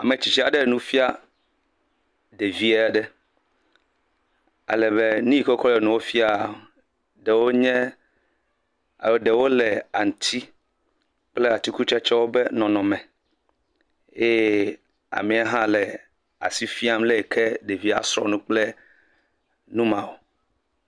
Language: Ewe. Me tsitsi aɖe le nu fia ɖevi aɖe, alebe nu ye ke wo ko le nua fiam eɖe wo nye, eɖe wo le aŋutsi kple atikutsetse be nɔnɔme. Eye amea ha le asi fiam le yi ke ɖevi a srɔ nu kple nu ma yo.